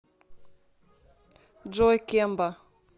джой кемба